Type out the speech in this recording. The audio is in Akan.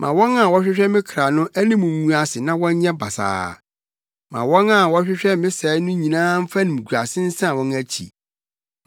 Ma wɔn a wɔhwehwɛ me kra no anim ngu ase na wɔnyɛ basaa; ma wɔn a wɔhwehwɛ me sɛe no nyinaa mfa animguase nsan wɔn akyi.